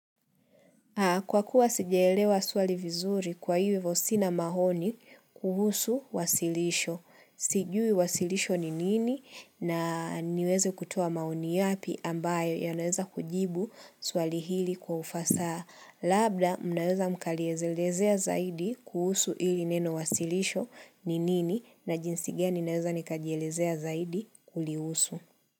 Kwa kuwa sijelewa swali vizuri kwa hii wevosina maoni kuhusu wasilisho. Sijui wasilisho ni nini na niweze kutuo maoni yapi ambayo ya naweza kujibu swali hili kwa ufasaha. Labda, mnaweza mkalezelezea zaidi kuhusu hili neno wasilisho ni nini na jinsi gani naweza nikajielezea zaidi kulihusu.